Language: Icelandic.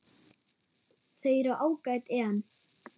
Þau eru ágæt en.